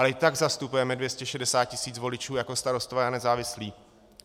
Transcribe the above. Ale i tak zastupujeme 260 tisíc voličů jako Starostové a nezávislí.